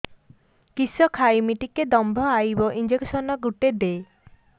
କିସ ଖାଇମି ଟିକେ ଦମ୍ଭ ଆଇବ ଇଞ୍ଜେକସନ ଗୁଟେ ଦେ